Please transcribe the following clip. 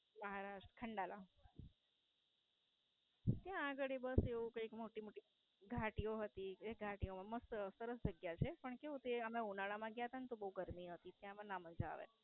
મહારાષ્ટ્ર ખંડાલા. ત્યાં ગાળી બસ એવું કઈ મોટી મોટી ઘાટીઓ હતી તે ઘાટીઓમાં મસ્ત સરસ જગ્યા છે પણ કેવું કે અમે ઉનાળામાં ગયા તા તો બવ ગરમી હતી એમાં ના મજા આવે.